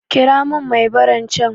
Kira mun mai baran can